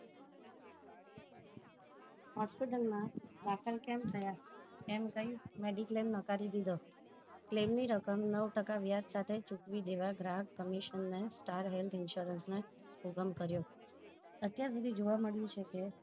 Hospital માં દાખલ કેમ થયા એમ કહી mediclaim નાખવી દીધો claim ની રકમ નવ ટકા વ્યાજ સાથે ચૂકવી દેવા ગ્રાહક કમીશન ને star health insurance ને હુકમ કર્યો અત્યાર સુધી જોવા મળ્યું છે કે